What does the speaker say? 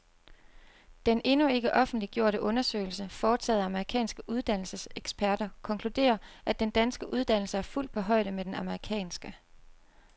Den endnu ikke offentliggjorte undersøgelse, foretaget af amerikanske uddannelseseksperter, konkluderer, at den danske uddannelse er fuldt på højde med den amerikanske.